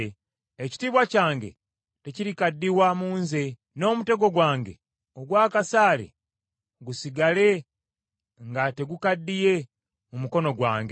Ekitiibwa kyange tekirikaddiwa mu nze, n’omutego gwange ogw’akasaale gusigale nga tegukaddiye mu mukono gwange.’